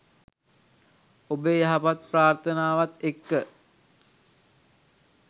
ඔබේ යහපත් ප්‍රාර්ථනාවත් එක්ක